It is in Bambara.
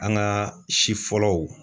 An gaa si fɔlɔw